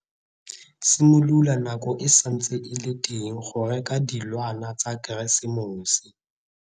Simolola nako e santse e le teng go reka dilwana tsa Keresemose.